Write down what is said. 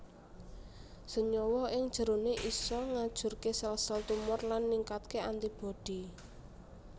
Senyawa ing jeroné isa ngajurké sel sel tumor lan ningkatké antibodi